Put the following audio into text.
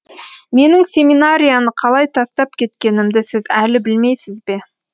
менің семинарияны қалай тастап кеткенімді сіз әлі білмейсіз бе